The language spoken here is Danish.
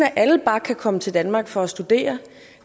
at alle bare kan komme til danmark for at studere